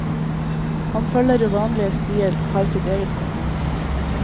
Han følger uvanlige stier, har sitt eget kompass.